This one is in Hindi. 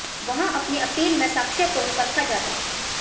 वहां पहली अपील में साक्ष्यों को नहीं परखा जाता